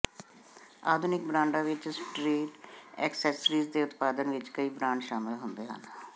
ਆਧੁਨਿਕ ਬ੍ਰਾਂਡਾਂ ਵਿਚ ਸਟਰੀਟ ਐਕਸੈਸਰੀਜ਼ ਦੇ ਉਤਪਾਦਨ ਵਿਚ ਕਈ ਬ੍ਰਾਂਡ ਸ਼ਾਮਲ ਹੁੰਦੇ ਹਨ